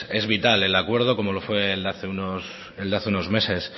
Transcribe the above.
es vital el acuerdo como lo fue el de hace unos meses